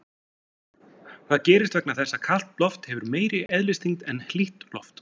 Það gerist vegna þess að kalt loft hefur meiri eðlisþyngd en hlýtt loft.